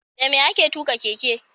Dame ake tuka keke?